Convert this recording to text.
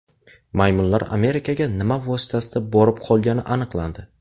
Maymunlar Amerikaga nima vositasida borib qolgani aniqlandi.